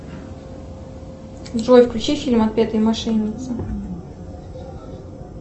джой включи фильм отпетые мошенницы